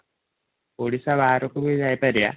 ଓଡ଼ିଶା ବାହାରକୁ ବି ଯାଇପାରିଆ ।